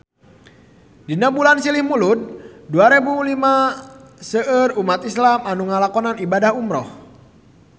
Dina bulan Silih Mulud taun dua rebu lima seueur umat islam nu ngalakonan ibadah umrah